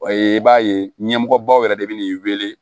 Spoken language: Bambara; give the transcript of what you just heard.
i b'a ye ɲɛmɔgɔbaw yɛrɛ de bɛ n'i wele